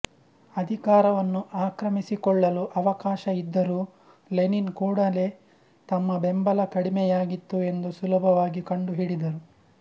ಅಧಿಕಾರವನ್ನು ಆಕ್ರಮಿಸಿಕೊಳ್ಳಲು ಅವಕಾಶ ಇದ್ದರೂ ಲೆನಿನ್ ಕೂಡಲೇ ತಮ್ಮ ಬೆಂಬಲ ಕಡಿಮೆಯಾಗಿತ್ತು ಎಂದು ಸುಲಭವಾಗಿ ಕಂಡುಹಿಡಿದರು